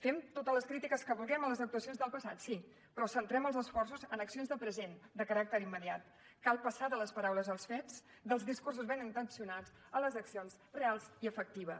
fem totes les crítiques que vulguem a les actuacions del passat sí però centrem els esforços en accions de present de caràcter immediat cal passar de les paraules als fets dels discursos ben intencionats a les accions reals i efectives